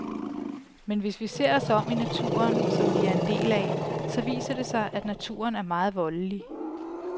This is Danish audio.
Men hvis vi ser os om i naturen, som vi er en del af, så viser det sig, at naturen er meget voldelig.